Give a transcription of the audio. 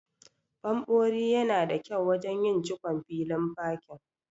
Ɓanɓori yana da kyau wajen yin cikon filin fakin.